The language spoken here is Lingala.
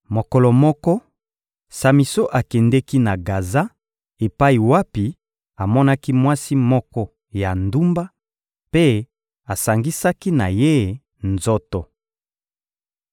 Mokolo moko, Samison akendeki na Gaza epai wapi amonaki mwasi moko ya ndumba, mpe asangisaki na ye nzoto.